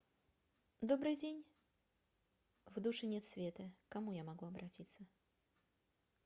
добрый день в душе нет света к кому я могу обратиться